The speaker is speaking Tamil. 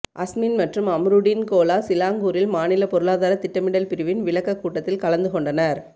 அஸ்மின் மற்றும் அமிரூடின் கோலா சிலாங்கூரில் மாநில பொருளாதார திட்டமிடல் பிரிவின் விளக்கக் கூட்டத்தில் கலந்து கொண்டனர்